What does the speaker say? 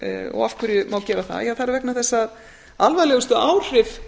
og af hverju má gera það ja það er vegna þess að alvarlegustu áhrif